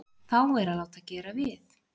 Þá er að láta gera við.